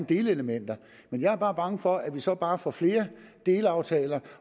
delelementer men jeg er bare bange for at vi så bare får flere delaftaler